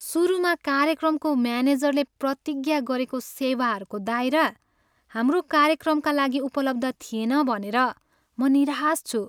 सुरुमा कार्यक्रमको म्यानेजरले प्रतिज्ञा गरेको सेवाहरूको दायरा हाम्रो कार्यक्रमका लागि उपलब्ध थिएन भनेर म निराश छु।